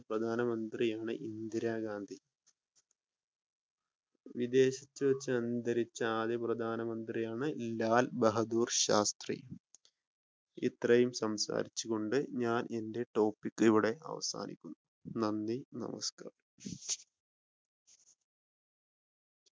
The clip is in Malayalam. ആദ്യത്തെ പ്രധാന മന്ത്രിയാണ് ഇന്ദിര ഗാന്ധി. വിദേശത്തുവെച് അന്തരിച്ച ആദ്യത്തെ പ്രധാന മന്ത്രിയാണ് ലാൽ ബഹാദൂർ ശാസ്ത്രി ഇത്രയും സംസാരിച്ചുകൊണ്ട് ഞാൻ എന്റെ ടോപിക് അവസാനിപ്പിക്കുന്നു. നന്ദി നമസ്കാരം.